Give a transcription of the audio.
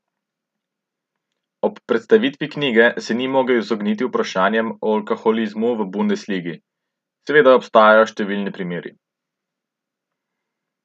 Ob predstavitvi knjige se ni mogel izogniti vprašanjem o alkoholizmu v bundesligi: "Seveda obstajajo številni primeri.